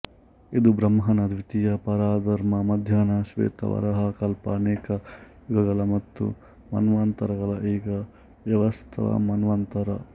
ಇದು ಬ್ರಹ್ಮನ ದ್ವಿತೀಯ ಪರಾರ್ಧ ಮಧ್ಯಾಹ್ನ ಶ್ವೇತ ವರಾಹ ಕಲ್ಪ ಅನೇಕ ಯುಗಗಳು ಮತ್ತು ಮನ್ವಂತರಗಳು ಈಗ ವೈವಸ್ವತ ಮನ್ವಂತರ